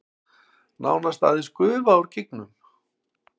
Nánast aðeins gufa úr gígnum